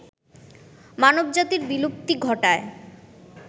মানবজাতির বিলুপ্তি ঘটায়